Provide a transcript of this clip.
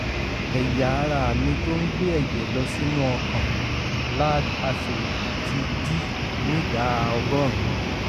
ẹ̀yà-ara mi tó ń gbé ẹ̀jẹ̀ lọ sínú ọkàn lad artery ti dí nídàá ọgọ́rùn-ún